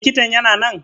Likitan yana nan?